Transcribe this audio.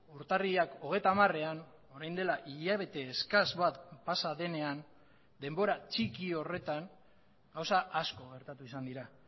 urtarrilak hogeita hamarean orain dela hilabete eskas bat pasa denean denbora txiki horretan gauza asko gertatu izan dira